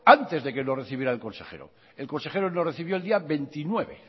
antes de que lo recibiera el consejero el consejero lo recibió el día veintinueve